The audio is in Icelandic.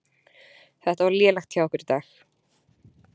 Þetta var lélegt hjá okkur í dag.